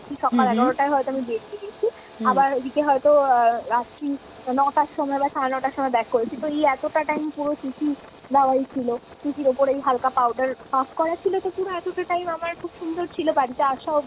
বেরিয়ে গেছি। এদিকে হয়তো রাত্রি ন'টার সময় বা সাড়ে ন'টার সময় back করেছি। তো এই এতটা time পুরো CC দাওয়াই ছিল। CCর ওপরেই হালকা powder puff করা ছিল তো পুরো এতটা time আমার খুব সুন্দর ছিল বাড়িতে আসা অবধি।